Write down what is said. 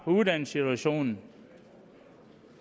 uddannelsessituationen